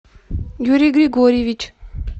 юрий григорьевич